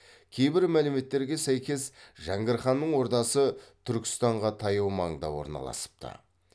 кейбір мәліметтерге сәйкес жәңгір ханның ордасы түркістанға таяу маңда орналасыпты